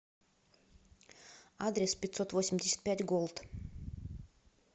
адрес пятьсотвосемьдесятпятьголд